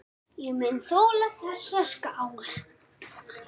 Ég mun þola þessa skál.